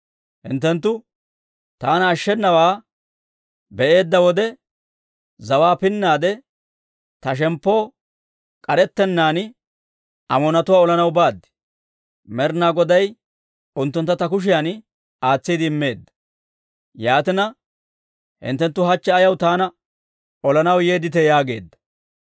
Hinttenttu taana ashshenawaa be'eedda wode, zawaa pinnaade ta shemppoo k'arettennaan Amoonatuwaa olanaw baad; Med'inaa Goday unttuntta ta kushiyan aatsiide immeedda. Yaatina, hinttenttu hachche ayaw taana olanaw yeedditee?» yaageedda.